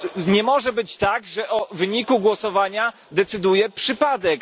Nie może być tak, że o wyniku głosowania decyduje przypadek.